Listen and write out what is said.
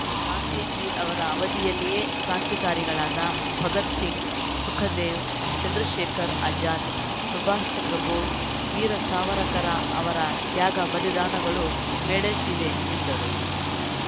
ಗಾಂಧೀಜಿ ಅವರ ಅವಧಿಯಲ್ಲಿಯೇ ಕ್ರಾಂತಿಕಾರಿಗಳಾದ ಭಗತ್‌ ಸಿಂಗ್‌ ಸುಖದೇವ್‌ ಚಂದ್ರಶೇಖರ್‌ ಆಜಾದ್‌ ಸುಭಾಷ್‌ ಚಂದ್ರ ಬೋಸ್‌ ವೀರ ಸಾವರಕರ ಅವರ ತ್ಯಾಗ ಬಲಿದಾನಗಳೂ ಮೇಳೈಸಿವೆ ಎಂದರು